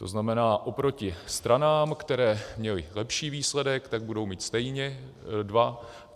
To znamená, oproti stranám, které měly lepší výsledek, tak budou mít stejně dva.